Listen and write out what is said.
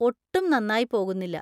ഒട്ടും നന്നായി പോകുന്നില്ല.